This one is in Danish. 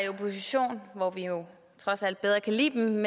i opposition hvor vi jo trods alt bedre kan lide dem